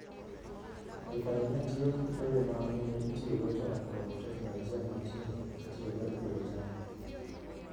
Jopainia tiyo gi yore ma ne itiyogo chon kod teknoloji ma tinde itiyogo e pidho cham.